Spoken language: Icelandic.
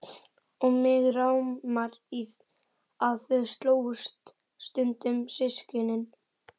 Og mig rámar í að þau slógust stundum systkinin.